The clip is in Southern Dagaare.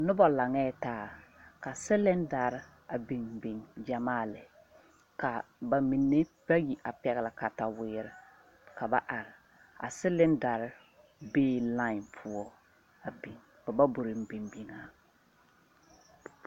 Noba laŋee taa ka silindare a biŋ biŋ gyɛmaa lɛ ka ba mine bayi a pɛgle kataweere ka ba are a silindare be e line poɔ a biŋ ba ba bon biŋ biŋ a.